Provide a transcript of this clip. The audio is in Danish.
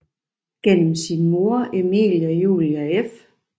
Gennem sin mor Emilie Julie f